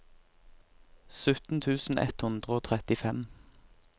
sytten tusen ett hundre og trettifem